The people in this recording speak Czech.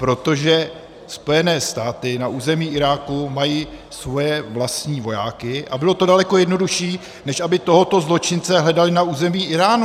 Protože Spojené státy na území Iráku mají svoje vlastní vojáky a bylo to daleko jednodušší, než aby tohoto zločince hledali na území Íránu.